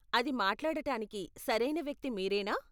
అది మాట్లాడటానికి సరైన వ్యక్తి మీరేనా?